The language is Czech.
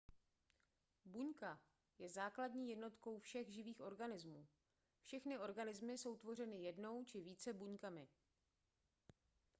buňka je základní jednotkou všech živých organismů všechny organismy jsou tvořeny jednou či více buňkami